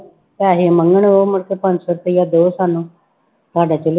ਪੈਸੇ ਮੰਗਣ ਉਹ ਮੇਰੇ ਤੋਂ ਪੰਜ ਸੌ ਰੁਪਇਆ ਦਓ ਸਾਨੂੰ, ਸਾਡੇ ਚੁੱਲੇ